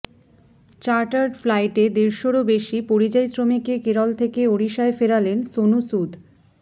chartered ফ্লাইটে দেড়শরও বেশি পরিযায়ী শ্রমিককে কেরল থেকে ওড়িশায় ফেরালেন সোনু সুদ